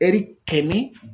Ɛri kɛmɛ